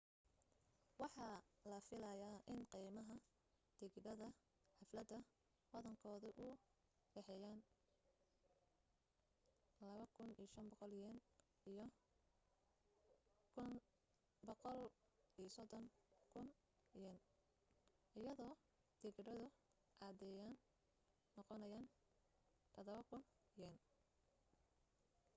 waxa la filaya in qiimaha tigidhada xafladda badankoodu u dhexeeyaan ¥2,500 iyo ¥130,000 iyado tigidhadu caadiyana noqonayaan ¥7,000